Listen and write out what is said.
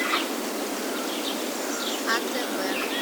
атб